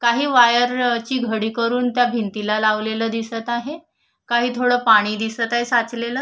काही वायर ची घडी करून त्या भिंतीला लावलेलं दिसत आहे काही थोडं पाणी दिसत आहे साचलेलं.